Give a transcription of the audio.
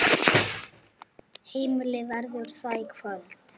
Heimir: Verður það í kvöld?